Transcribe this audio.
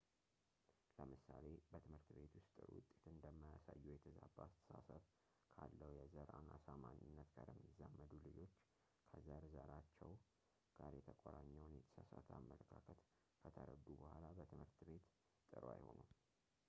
ለምሳሌ በት / ቤት ውስጥ ጥሩ ውጤት እንደማያሳዩ የተዛባ አስተሳሰብ ካለው የዘር አናሳ ማንነት ጋር የሚዛመዱ ልጆች ከዘር ዘራቸው ጋር የተቆራኘውን የተሳሳተ አመለካከት ከተረዱ በኋላ በትምህርት ቤት ጥሩ አይሆኑም